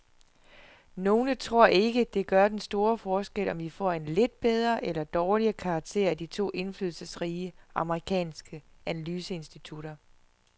Nogle tror ikke, det gør den store forskel, om vi får en lidt bedre eller dårligere karakter af de to indflydelsesrige amerikanske analyseinstitutter.